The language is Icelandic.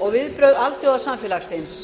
og viðbrögð alþjóðasamfélagsins